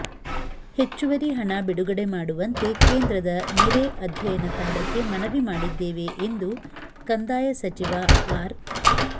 ಹೆಚ್ಚುವರಿ ಹಣ ಬಿಡುಗಡೆ ಮಾಡುವಂತೆ ಕೇಂದ್ರದ ನೆರೆ ಅಧ್ಯಯನ ತಂಡಕ್ಕೆ ಮನವಿ ಮಾಡಿದ್ದೇವೆ ಎಂದು ಕಂದಾಯ ಸಚಿವ ಆರ್